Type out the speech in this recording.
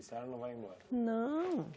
A senhora não vai embora? Não